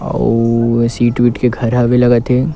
अउ ए सीट विट के घर हवे लगत हे।